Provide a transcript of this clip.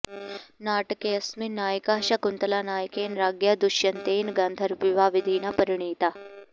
नाटकेऽस्मिन् नायिका शाकुन्तला नायकेन राज्ञा दुष्यन्तेन गान्धर्वविवाहविधिना परिणीता